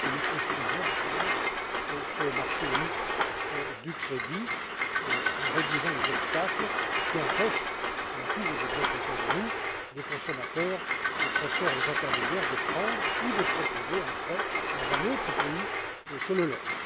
C'est là que nous construisons ensemble ce marché unique du crédit en réduisant les obstacles qui empêchent nous avons tous des exemples autour de nous les consommateurs, les prêteurs et les intermédiaires de prendre ou de proposer un prêt dans un pays autre que le leur.